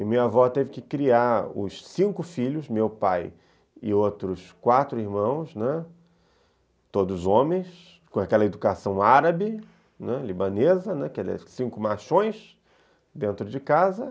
E minha avó teve que criar os cinco filhos, meu pai e outros quatro irmãos, né, todos homens, com aquela educação árabe, né, libanesa, aqueles cinco machões dentro de casa.